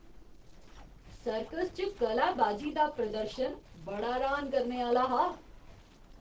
Circus च कलाबाजी दा प्रदर्शन बड़ा र्हान करने आह्‌ला हा!